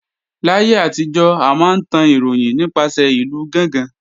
Láyé àtijọ́, a máa ń tan ìròyìn nípasẹ̀ ìlú gángan